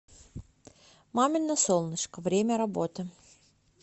мамино солнышко время работы